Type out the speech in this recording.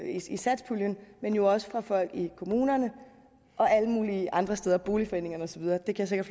i satspuljen men jo også fra folk i kommunerne og alle mulige andre steder boligforeningerne og så videre det kan